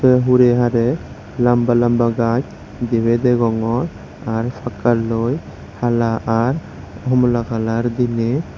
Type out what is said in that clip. se hure hare lamba lamba gach dibe degongor ar pakka loi hala ar homola kalar dine.